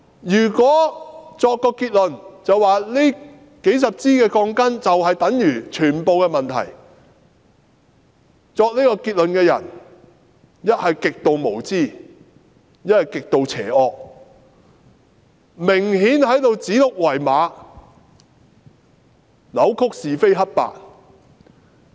如果說這數十支鋼筋就等於全部問題，作出這個結論的人一則極度無知，一則極度邪惡，顯然在指鹿為馬，扭曲是非黑白。